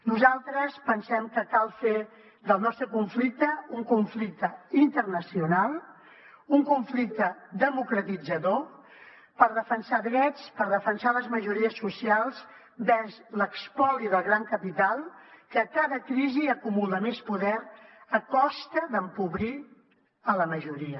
nosaltres pensem que cal fer del nostre conflicte un conflicte internacional un conflicte democratitzador per defensar drets per defensar les majories socials vers l’espoli del gran capital que a cada crisi acumula més poder a costa d’empobrir la majoria